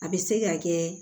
A bɛ se ka kɛ